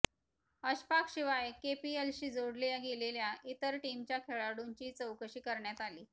अशफाकशिवाय केपीएलशी जोडल्या गेलेल्या इतर टीमच्या खेळाडूंचीही चौकशी करण्यात आली